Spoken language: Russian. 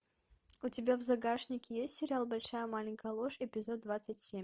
у тебя в загашнике есть сериал большая маленькая ложь эпизод двадцать семь